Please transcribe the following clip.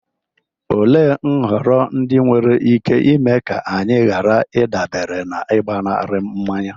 Olee nhọrọ ndị nwere ike ime ka anyị ghara ịdabere n'ịgbanarị mmanya?